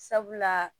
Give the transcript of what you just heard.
Sabula